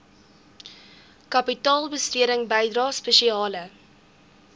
kapitaalbesteding bydrae spesiale